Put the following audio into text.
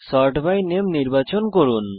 sort by নামে নির্বাচন করুন